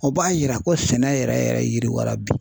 O b'a yira ko sɛnɛ yɛrɛ yɛrɛ yiriwa bi.